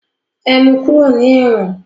E mu kúrò ní ẹ̀wọ̀n!